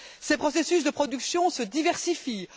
Ses processus de production se diversifient.